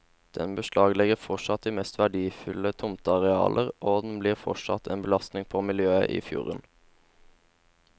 Den beslaglegger fortsatt de mest verdifulle tomtearealer, og den blir fortsatt en belastning på miljøet i fjorden.